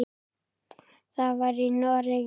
Það var í Noregi.